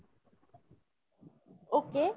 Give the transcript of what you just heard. okay।